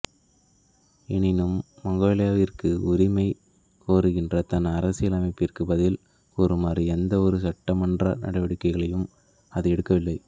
எனினும் மங்கோலியாவிற்கு உரிமை கோருகின்ற தன் அரசியல் அமைப்பிற்கு பதில் கூறுமாறு எந்த ஒரு சட்டமன்ற நடவடிக்கைகளையும் அது எடுக்கவில்லை